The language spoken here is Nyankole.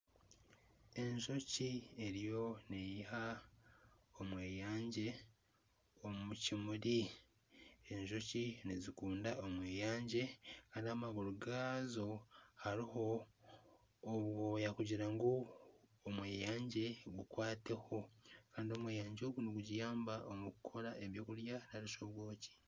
Enjoki eriyo neiha omweyangye omu kimuri, enjoki nizikunda omweyangye kandi amaguru gaazo hariho obwooya kugira ngu omweyangye gukwateho kandi omweyangye ogu nigugiyamba omu kukora eby’okurya narishi obwoki.